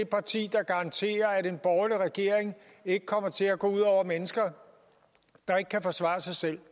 parti der garanterer at det under en borgerlig regering ikke kommer til at gå ud over mennesker der ikke kan forsvare sig selv